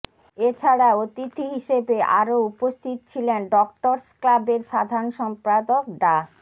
এ ছাড়া অতিথি হিসেবে আরো উপস্থিত ছিলেন ডক্টর্স ক্লাবের সাধারণ সম্পাদক ডা